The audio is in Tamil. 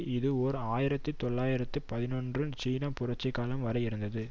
இது ஓர் ஆயிரத்தி தொள்ளாயிரத்து பதினொன்று சீன புரட்சிக்காலம் வரை இருந்தது